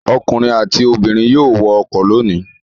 Ọkùnrin àti obìnrin yóò wọ ọkọ̀ lónìí.